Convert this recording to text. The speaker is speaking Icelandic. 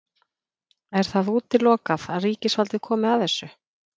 Er það útilokað að ríkisvaldið komi að þessu?